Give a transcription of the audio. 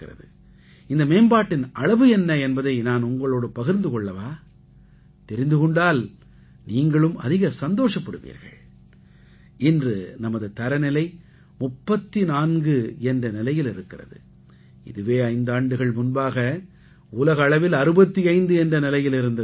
இந்த மேம்பாட்டின் அளவு என்ன என்பதை நான் உங்களோடு பகிர்ந்து கொள்ளவா தெரிந்து கொண்டால் நீங்களும் அதிக சந்தோஷப்படுவீர்கள் இன்று நமது தரநிலை 34 என்ற நிலையில் இருக்கிறது இதுவே ஐந்தாண்டுகள் முன்பாக உலக அளவில் 65 என்ற நிலையில் இருந்தது